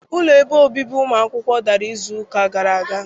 Ụlọ ebe obibi ụmụ akwụkwọ dara izu ụka gara aga.